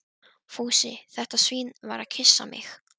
Fúsi, þetta svín, var að kyssa mig.